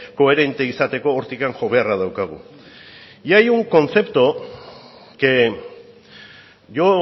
koherentea izateko hortik jo beharra daukagu hay un concepto que yo